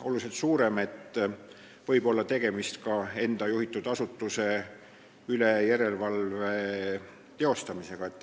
oluliselt suurem võimalus, et võib olla tegemist ka enda juhitud asutuse üle järelevalve tegemisega.